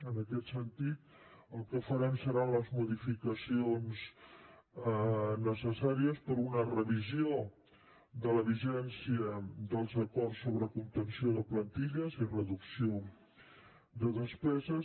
en aquest sentit el que farem seran les modificacions necessàries per a una revisió de la vigència dels acords sobre contenció de plantilles i reducció de despeses